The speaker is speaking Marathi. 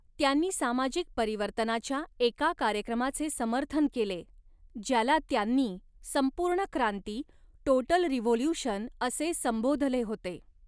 त्यांनी सामाजिक परिवर्तनाच्या एका कार्यक्रमाचे समर्थन केले, ज्याला त्यांनी संपूर्ण क्रांती, 'टोटल रिव्होल्युशन' असे संबोधले होते.